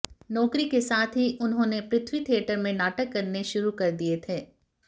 नौकरी के साथ ही उन्होंने पृथ्वी थिएटर में नाटक करने शुरू कर दिए थे